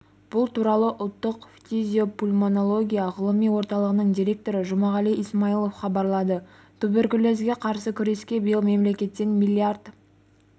бұл туралы ұлттық фтизиопульмонология ғылыми орталығының директоры жұмағали исмаилов хабарлады туберкулезге қарсы күреске биыл мемлекеттен миллиард